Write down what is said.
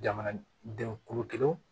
Jamanadenw kulu kelen